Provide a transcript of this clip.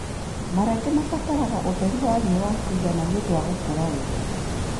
Marenge mabataraga ũtheri wa riũa wa kũigana nĩũndũ wa gũkũra wega.